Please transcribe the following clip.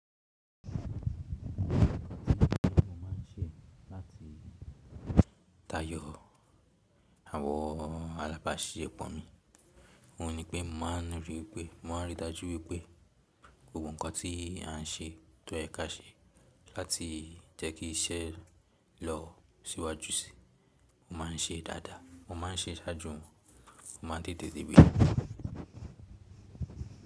Ọ̀kan nínú nǹkan tí mo máa ń ṣe láti tayọ àwọ̀ alábàáṣi pọ̀ mi, òun ni pé mo máa ń ríi pé, mo máa ń rí i dájú wípé gbogbo nǹkan tí à ń ṣe tó yẹ̀ka ṣe láti jẹ́ kí iṣẹ́ lọ síwájú sí i, mo má ń ṣe dáadáa, mo má n ṣe sáájú, mo ma n tètè dé ibi.